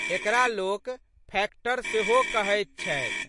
एकरा लोक फैक्टर सेहो कहैत छथि।